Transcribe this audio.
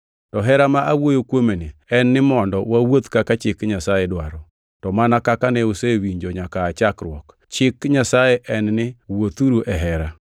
To hera ma awuoyo kuomeni en ni mondo wawuoth kaka chik Nyasaye dwaro. To mana kaka ne usewinjo nyaka aa chakruok, chik Nyasaye en ni wuothuru e hera.